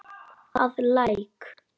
að Læk.